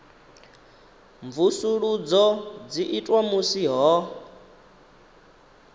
mvusuludzo dzi itwa musi ho